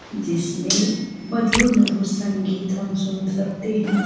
जिसमें मधुर-मधुर संगीत हम सुन सकते हैं।